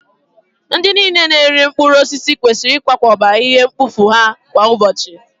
Ndị niile na-ere mkpụrụ osisi kwesịrị ịkwakọba ihe mkpofu ha kwa ụbọchị!